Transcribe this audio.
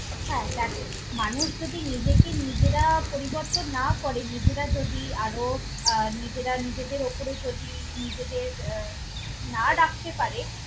হ্যাঁ দ্যাখো, মানুষ যদি নিজেকে নিজেরা পরিবর্তন না করে, নিজেরা যদি আরও আহ নিজেরা নিজেদের ওপরে যদি নিজেদের আহ না রাখতে পারে।